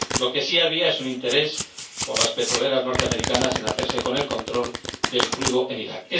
Lo que sí había es un interés de las petroleras norteamericanas por hacerse con el control del crudo en Iraq.